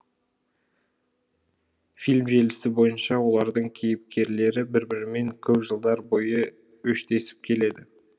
фильм желісі бойынша олардың кейіпкерлері бір бірімен көп жылдар бойы өштесіп келеді